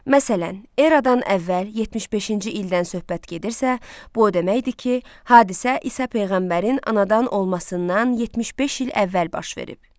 Məsələn, eradan əvvəl 75-ci ildən söhbət gedirsə, bu o deməkdir ki, hadisə İsa peyğəmbərin anadan olmasından 75 il əvvəl baş verib.